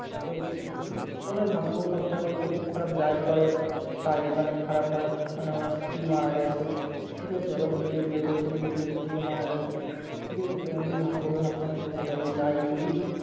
আহ উম ওনার ভাগ্য সবসময় বলতো খুব খারাপ যাই করে তাই মানে খারাপ হয় মানে ওনার স্ত্রী মারা গেছে ঠিক আছে? এবার দ্বিতীয় বিয়ে করেছে তৃতীয় স্ত্রীও মারা গেছে ঠিক আছে? তো উনি ভাগ্য কে সবসময় দোষ দেয় যে যাই করি